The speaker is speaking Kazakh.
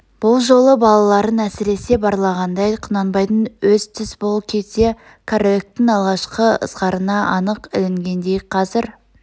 бұл жолы балаларын әсресе барлағандай құнанбайдың өз түс бұл кезде кәріліктің алғашқы ызғарына анық ілінгендей қазір